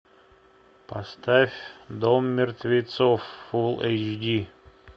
поставь дом мертвецов фулл эйч ди